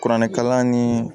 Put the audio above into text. Kuranɛkalan ni